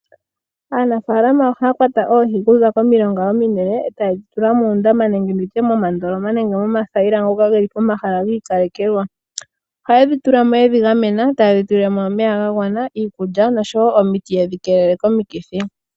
Aanafaalama ohaya kwata oohi okuza komailonga ominene, etaye dhi tula moondama, momatale nenge momathayila ngoka haga kala kiikalekelwa. Ohaye dhi tula mo yedhi gamena, etaye dhi tulile mo omeya ga yela, iikulya noshowo omuti yedhi keelele komikithi.